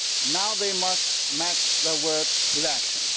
Now they must match their words by action.